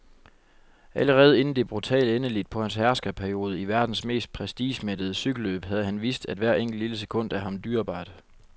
Allerede inden det brutale endeligt på hans herskerperiode i verdens mest prestigemættede cykelløb havde han vist, at hvert enkelt, lille sekund er ham dyrebart.